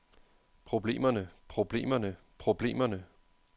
problemerne problemerne problemerne